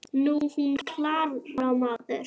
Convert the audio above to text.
Nú, hún Klara, maður!